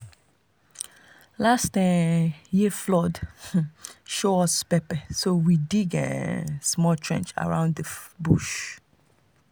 last um year flood um show us pepper so we dig dig um small trench around the bush.